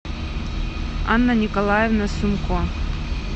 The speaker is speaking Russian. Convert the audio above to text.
анна николаевна сумко